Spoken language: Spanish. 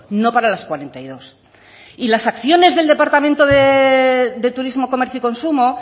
no para las cuarenta y dos y las acciones del departamento de turismo comercio y consumo